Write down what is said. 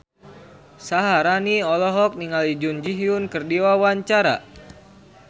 Syaharani olohok ningali Jun Ji Hyun keur diwawancara